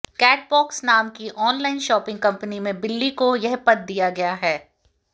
कैटबॉक्स नाम की online shopping company में बिल्ली को यह पद दिया गया है